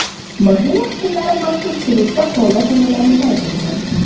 Mashina qismlari maxsus hududda qo‘lda tayyorlanishi aytilgan.